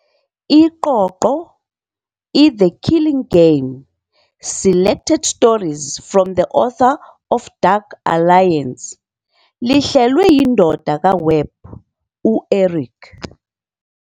Iqoqo, "iThe Killing Game- Selected Stories from the Author of Dark Alliance", lihlelwe yindodana kaWebb, u-Eric.